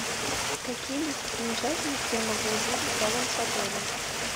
какие достопримечательности я могу увидеть рядом с отелем